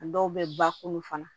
A dɔw bɛ bakuru fana